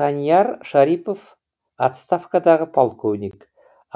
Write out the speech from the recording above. таньяр шарипов отставкадағы полковник